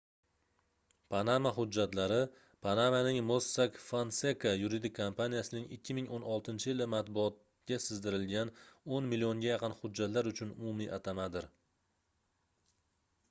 panama hujjatlari - panamaning mossack fonseca yuridik kompaniyasining 2016-yili matbuotga sizdirilgan oʻn millionga yaqin hujjatlar uchun umumiy atamadir